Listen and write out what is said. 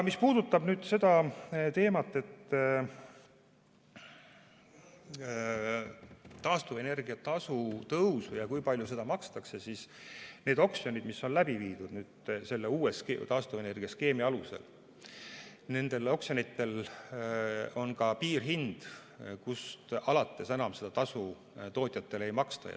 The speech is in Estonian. Mis puudutab taastuvenergia tasu tõusu ja seda, kui palju seda makstakse, siis nendel oksjonitel, mis on läbi viidud uue taastuvenergiaskeemi alusel, on ka piirhind, kust alates seda tasu tootjatele enam ei maksta.